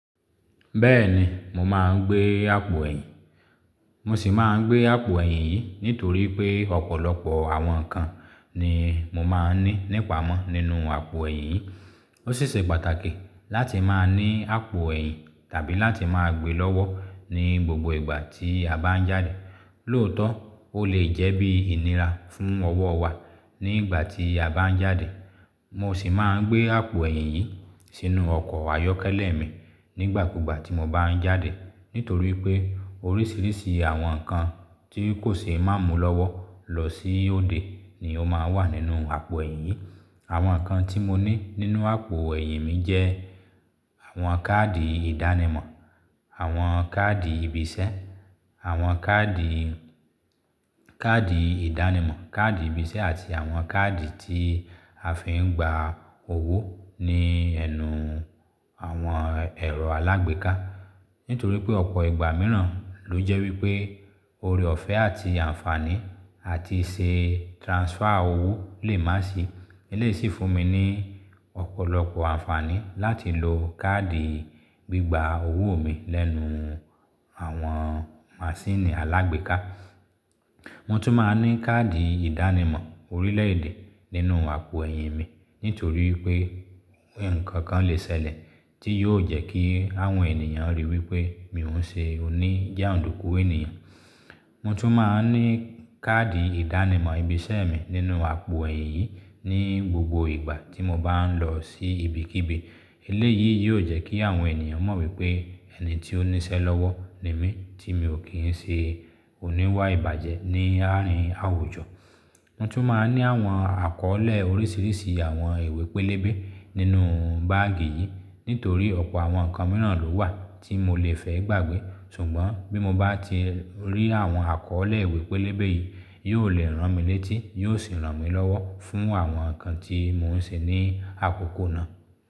Bẹ́ẹ̀ni, mo máa ń gbé àpò ẹ̀yìn. Mo sì máa ń gbé àpò ẹ̀yìn yìí nítorí pé ọ̀pọ̀lọpọ̀ àwọn nǹkan ni mo máa ń ní nípamọ́ nínú àpò ẹ̀yìn yìí. Ó ṣíṣe pàtàkì láti máa ní àpò ẹ̀yìn tàbí láti máa gbe lọ́wọ́ ní gbogbo ìgbà tí a bá ń jáde. Lóòótọ́, ó lè jẹ́ bí ìníra fún ọwọ́ wa nígbà tí a bá ń jáde. Mo sì máa ń gbé àpò ẹ̀yìn yìí sínú ọkọ̀ ayọ́kẹ́lẹ́ mi nígbàkugba tí mo bá ń jáde, nítorí pé oríṣiríṣi àwọn nǹkan tí kò ṣe má mú lọ́wọ́ lọ sí òde ni ó máa wà nínú àpò ẹ̀yìn yìí. Àwọn nǹkan tí mo ní nínú àpò ẹ̀yìn mi jẹ́ àwọn káàdì ìdánimọ̀, àwọn káàdì ibi iṣẹ́, àwọn káàdì, káàdì ìdánimọ̀, káàdì ibi iṣẹ́ àti àwọn káàdì tí a fi ń gba owó ní ẹnu àwọn ẹ̀rọ alágbèéká. Nítorí pé ọ̀pọ̀ ìgbà mìíràn ló jẹ́ wípé ore ọ̀fẹ́ àti àǹfààní àti ṣe transfer owó lè má sì. Eléyìí sì fún mi ní ọ̀pọ̀lọpọ̀ àǹfààní láti lo káàdì gbígba owó mi lẹ́nu àwọn maṣíìnì alágbèéká. Mo tún máa ń ní káàdì ìdánimọ̀ orílẹ̀èdè nínú àpò ẹ̀yìn mi nítorí pé ǹkankan lè ṣẹlẹ̀ tí yóò jẹ́ kí àwọn ènìyàn ríi wípé mi ò ń ṣe oní jàndùkú ènìyàn. Mo tún máa ń ní káàdì ìdánimọ̀ ibi iṣẹ́ mi nínú àpò ẹ̀yìn yìí ní gbogbo ìgbà tí mo bá ń lọ sí ibi kíbi. Eléyìí yóò jẹ́ kí àwọn ènìyàn mọ̀ wípé ẹni tí ó níṣẹ́ lọ́wọ́ ni mí tí mi ò kí ń ṣe oníwà ìbàjẹ́ ní àárín àwùjọ. Mo tún máa ń ní àwọn àkọ́ọ́lẹ̀ oríṣiríṣi àwọn ìwé pélébé nínú báàgì yìí nítorí ọ̀pọ̀ àwọn nǹkan mìíràn ló wà tí mo lè fẹ́ gbàgbé. Ṣùgbọ́n bí mo bá ti rí àwọn àkọ́ọ́lẹ̀ ìwé pélébé yìí, yóò lè ràn mí létí, yóò sì ràn mí lọ́wọ́ fún àwọn nǹkan tí mò ń ṣe ní àkókò náà.